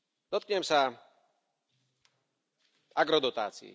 Dotknem sa agrodotácií.